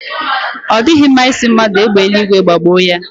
Ọ dịghị mma ị sị mmadụ égbè eluigwe gbagbue ya.